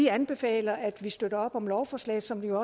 anbefaler at støtte op om lovforslaget som jo